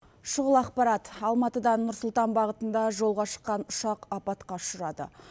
шұғыл ақпарат алматыдан нұр сұлтан бағытында жолға шыққан ұшақ апатқа ұшырады